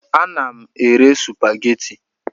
Ana m ere supageti.